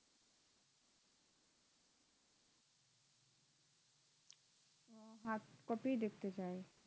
কপিই দেখতে চায়